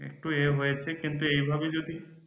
একটু এ হয়েছে কিন্তু এভাবে যদি